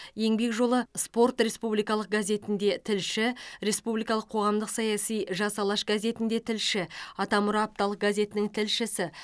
еңбек жолы спорт республикалық газетінде тілші республикалық қоғамдық саяси жас алаш газетінде тілші атамұра апталық газетінің тілшісі